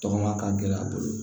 Tɔgɔma ka gɛlɛn a bolo